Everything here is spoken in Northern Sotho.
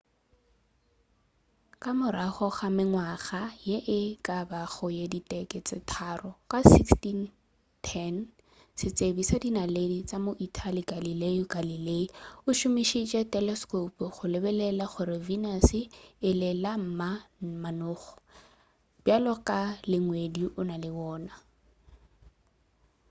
ka morago ga mengwaga ye e ka bago ye diteke tše tharo ka 1610 setsebi sa dinaledi sa mo-italy galileo galilei o šomišitše teleskope go lebelela gore venus e la le ma manoga bjalo ka ge ngwedi o na le wona